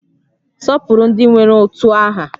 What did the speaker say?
Sọpụrụ ndị nwere utu aha